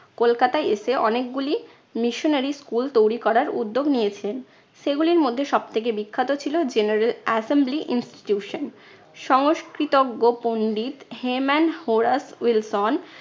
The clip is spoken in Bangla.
কলকাতায় এসে অনেকগুলি missionary school তৈরী করার উদ্যোগ নিয়েছেন। সেগুলির মধ্যে সব থেকে বিখ্যাত ছিল general assembly institution সংস্কৃতজ্ঞ পণ্ডিত হেমান হোরাস উইলসন